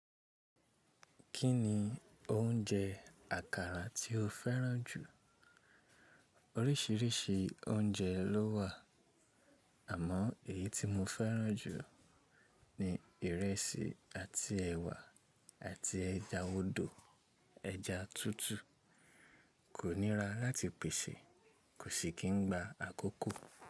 Kíni oúnjẹ àkàrà tí o fẹ́ràn jù? Oríṣìíríṣìí oúnjẹ lówà, àmọ èyí tí mo fẹ́ràn jù ni ìrẹsì àti ẹ̀wà àti ẹja odò, ẹja tútù. Kò nira láti pèsè, kò sì kí n gba àkókò.